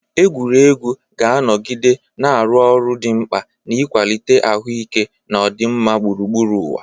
Egwuregwu ga-anọgide na-arụ ọrụ dị mkpa n'ịkwalite ahụike na ọdịmma gburugburu ụwa.